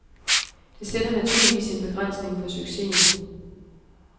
Det sætter naturligvis sin begrænsning for succesen.